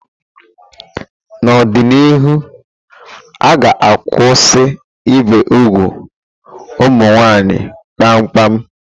N'ọdịnihu, a ga-akwụsị ibi úgwù ụmụ nwanyị kpamkpam.